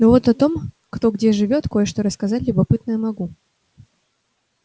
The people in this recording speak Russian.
но вот о том кто где живёт кое-что рассказать любопытное могу